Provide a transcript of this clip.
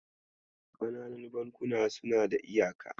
Ƙananan bankuna suna da iyaka.